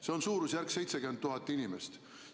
See on suurusjärgus 70 000 inimest.